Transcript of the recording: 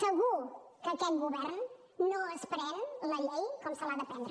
segur que aquest govern no es pren la llei com se l’ha de prendre